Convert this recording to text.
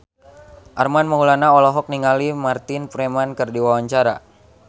Armand Maulana olohok ningali Martin Freeman keur diwawancara